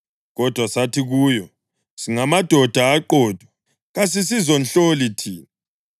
Kodwa sathi kuyo, ‘Singamadoda aqotho; kasisizonhloli thina.